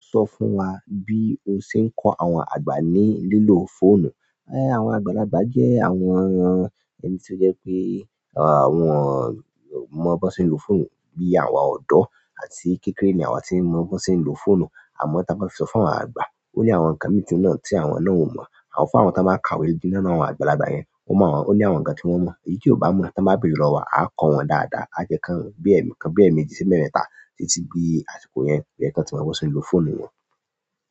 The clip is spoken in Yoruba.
Sọ fún wa bí o ṣe ń kọ àwọn àgbà ní lílo fóònù. Ẹ, àwọn àgbàlagbà jẹ́ àwọn ẹni tó jẹ pé àwọn mọ bí wọ́n ṣe ń lo fóònù bí àwa ọ̀dọ́ àti kékeré ni àwa tí mọ bí wọn ṣe ń lo fóònù. Àmọ́ tí a bá sọ fún àwọn àgbà, ó ní àwọn ǹkan mìíràn tí àwọn náà ò mọ̀. A fún àwọn tí máa ń ka ìwé díiná mọ àwọn àgbàlagbà yẹn, wọ́n mọ̀ wọ́n, ó ní àwọn ǹkan tí wọ́n mọ̀ èyí tí ò bá mọ̀ tí wọ́n bá bèrè lọ́wọ́ wa, a kọ́ wọn dáadáa. A jẹ́ ká wọn bí ẹ̀ẹ̀mẹlọ̀kan, bí ẹ̀ẹ̀mẹ́jì sí mẹ́rin táà títí bí àsìkò yẹn yẹ kí wọ́n tí mọ bí wọ́n ṣe ń lo fóònù wọn.